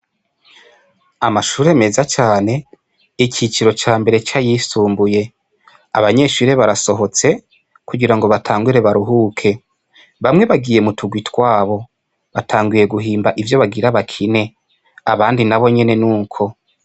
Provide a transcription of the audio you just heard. Amashure meza cane, ikiciro ca mbere c'ayisumbuye, abanyeshure barasohotse kugira ngo batangure baruhuke bamwe bagiye mu tugwi twayo, batanguye guhimba ivyo bagira bakine abandi nabo nyene nuko.